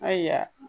Ayiwa